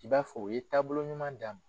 I b'a fɔ u ye taabolo ɲuman d'a ma